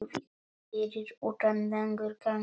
Fyrir utan langur gangur.